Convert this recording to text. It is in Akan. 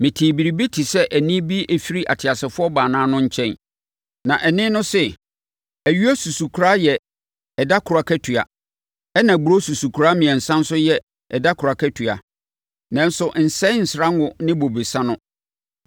Metee biribi te sɛ nne bi firi ateasefoɔ baanan no nkyɛn. Na nne no se, “Ayuo susukora yɛ ɛda koro akatua, ɛnna aburoo susukora mmiɛnsa nso yɛ ɛda koro akatua. Nanso, nsɛe nsrango no ne bobesa no!”